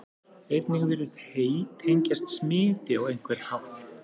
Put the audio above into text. einnig virðist hey tengjast smiti á einhvern hátt